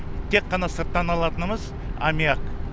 тек қана сырттан алатынымыз амиак